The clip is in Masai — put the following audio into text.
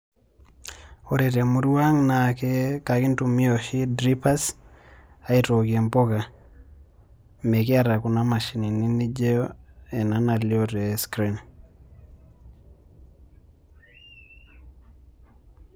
Ore temurua ang naa enkintumia oshi dippers aitookie mpuka mekiata kuna mashinini , nijo ena nalio tescreen .